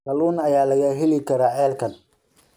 kalluun ayaa laga heli karaa ceelkan